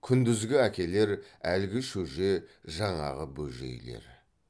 күндізгі әкелер әлгі шөже жаңағы бөжейлер